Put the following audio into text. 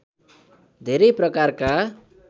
धेरै प्रकारका